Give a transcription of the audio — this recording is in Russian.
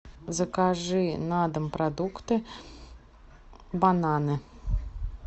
закажи на дом продукты бананы